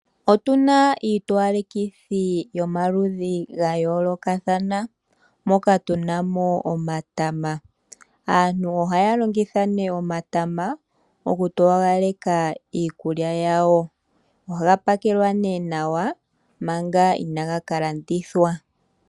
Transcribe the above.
Otuna iitowalekithi yomaludhi ga yoolokathana, moka tuna mo omatama. Aantu ohaya longitha nee omatama mokutowaleka iikulya yawo. Ohaga pakelwa nee nawa manga inaaga ka landithwa.